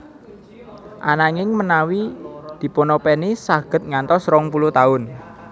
Ananging menawi dipunopèni saged ngantos rong puluh taun